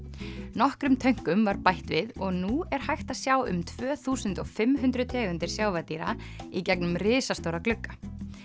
nokkrum tönkum var bætt við og nú er hægt að sjá um tvö þúsund og fimm hundruð tegundir sjávardýra í gegnum risastóra glugga